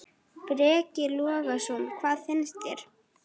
Breki Logason: Hvað finnst þér?